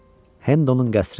Hendonun qəsri.